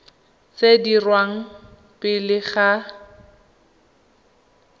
tse di dirwang pele ga